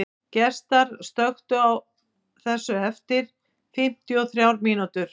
Gestar, slökktu á þessu eftir fimmtíu og þrjár mínútur.